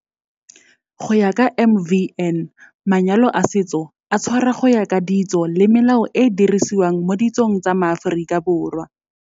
Go ya ka MvN, manyalo a setso a tshwarwa go ya ka ditso le melao e e dirisiwang mo ditsong tsa maAforika Borwa.